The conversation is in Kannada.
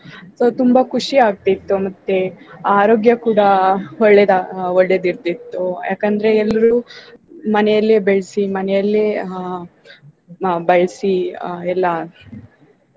So ತುಂಬಾ ಖುಷಿ ಆಗ್ತಿತ್ತು ಮತ್ತೆ ಆರೋಗ್ಯ ಕೂಡಾ ಒಳ್ಳೇದ~ ಒಳ್ಳೇದಿರ್ತಿತ್ತು, ಯಾಕಂದ್ರೆ ಎಲ್ರು ಮನೆಲೇ ಬೆಳ್ಸಿ ಮನೆಲೇ ಆ ಬಳ್ಸಿ ಆ ಎಲ್ಲಾ